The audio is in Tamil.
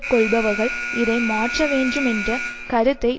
கொள்பவர்கள் இதை மாற்றவேண்டுமென்ற கருத்தை